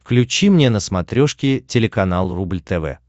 включи мне на смотрешке телеканал рубль тв